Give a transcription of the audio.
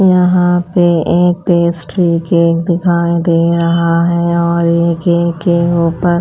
यहां पे एक पेस्ट्री केक दिखाई दे रहा है और ये केक के ऊपर--